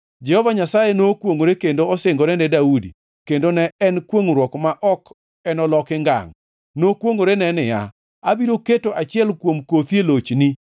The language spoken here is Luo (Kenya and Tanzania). Jehova Nyasaye nokwongʼore kendo osingore ne Daudi, kendo ne en kwongʼruok ma ok enoloki ngangʼ; nokwongʼorene niya, “Abiro keto achiel kuom kothi e lochni,